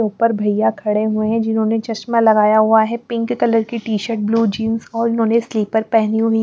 ऊपर भैया खड़े हुए हैं जिन्होंने चश्मा लगाया हुआ है पिंक कलर की टी-शर्ट ब्लू जींस और उन्होंने स्लीपर पहनी हुई हैं.